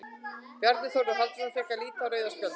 Bjarni Þórður Halldórsson fékk að líta rauða spjaldið.